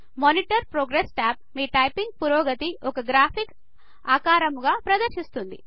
monitor progress tab మీ typing పురోగతి ఒక గ్రాఫికల్ ఆకారముగా ప్రదర్శిస్తుంది